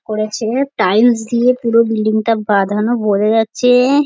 করেছে টাইলস দিয়ে পুরো বিল্ডিং -টা বাঁধানো বোঝা যাচ্ছে -এ।